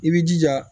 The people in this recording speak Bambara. I b'i jija